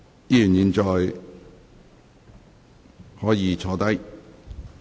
議員現在可以坐下。